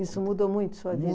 Isso mudou muito sua vida?